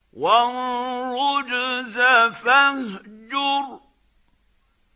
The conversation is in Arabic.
وَالرُّجْزَ فَاهْجُرْ